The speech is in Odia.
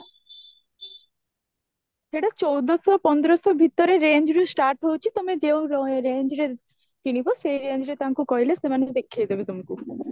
ସେଈଠି ଚଉଦଶହ ପନ୍ଦରଶହ ଭିତରେ range ରୁ start ହଉଛି ତମେ ଯୋଉ range ର କିଣିବ ସେ range ରେ ତାଙ୍କୁ କହିଲେ ସେମାନେ ଦେଖେଇଦେବେ ତମକୁ